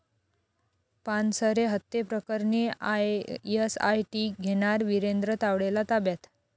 पानसरे हत्येप्रकरणी एसआयटी घेणार विरेंद्र तावडेला ताब्यात?